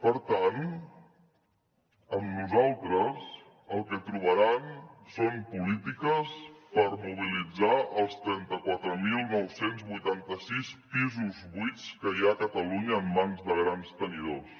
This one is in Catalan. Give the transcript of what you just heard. per tant amb nosaltres el que trobaran són polítiques per mobilitzar els trenta quatre mil nou cents i vuitanta sis pisos buits que hi ha a catalunya en mans de grans tenidors